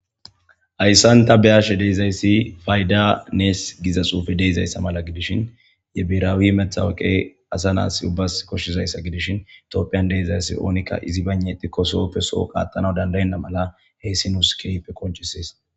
Hayssan ta beashe dizayssi fayda nes giza xufe deizaysa mala gidishin ye birawi metawaqqa asa na7as ubbas koshizayssa gidishin tophphiyan diza asay onnika izi baynda ixxiko sohope soho qaxanawu dandenaba haysi nus kehippe qoncisses.